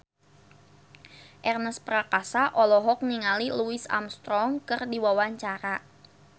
Ernest Prakasa olohok ningali Louis Armstrong keur diwawancara